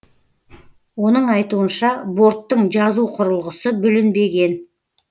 оның айтуынша борттың жазу құрылғысы бүлінбеген